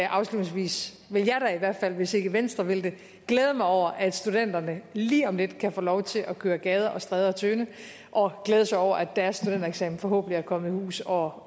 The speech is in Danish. afslutningsvis vil jeg da i hvert fald hvis ikke venstre vil det glæde mig over at studenterne lige om lidt kan få lov til at køre gader og stræder tynde og glæde sig over at deres studentereksamen forhåbentlig er kommet i hus og